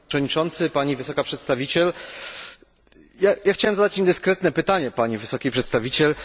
Panie Przewodniczący, Pani Wysoka Przedstawiciel! Chciałbym zadać niedyskretne pytanie Pani Wysokiej Przedstawiciel.